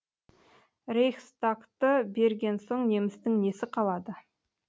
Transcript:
рейхстагты берген соң немістің несі қалады